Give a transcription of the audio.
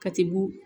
Ka tibu